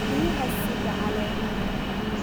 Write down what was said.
Riyaha sida caleemaha.